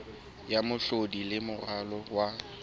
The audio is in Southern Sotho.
ya mehlodi le moralo wa